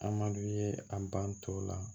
Amadu ye a ban tɔw la